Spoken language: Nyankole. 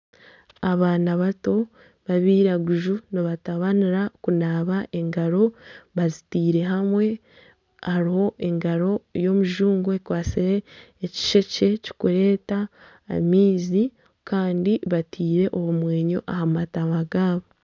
Abaana bato babairaguzu nibatabanira okunaaba engaro bazitaire hamwe hariho engaro y'omujungu ekwatsire ekishekye kirikureeta amaizi Kandi bataire obumweenyo aha matama gaabo